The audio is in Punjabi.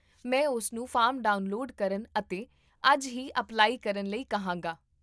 ਮੈਂ ਉਸਨੂੰ ਫਾਰਮ ਡਾਊਨਲੋਡ ਕਰਨ ਅਤੇ ਅੱਜ ਹੀ ਅਪਲਾਈ ਕਰਨ ਲਈ ਕਹਾਂਗਾ